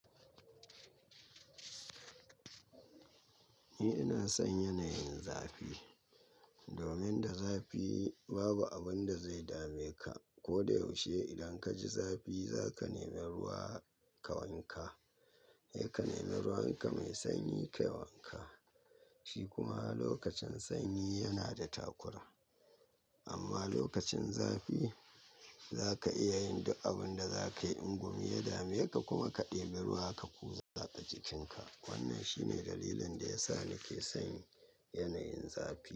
Ni ina son yanayin zafi. Domin da zafi babu abunda zai dame ka. Ko da yaushe idan ka ji zafi za ka nemi ruwa ka wanka. Sai ka nemi ruwanka mai sanyi kayi wanka. Shi kuma lokacin sanyi yana da takura. Amma lokacin zafi za ka iya yin duk abun da za ka yi. In gumi ya dame ka kuma ka ɗebi ruwa ka kuza a jikinka. Wannan shine dalilin da ya sa nake son yanayin zafi.